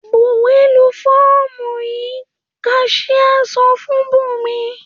‘Buwó̩ lu fó̩ò̩mù yìí!’, kas̩íá so̩ fún Bùnmi